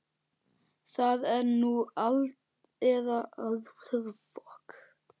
Það er nú eða aldrei.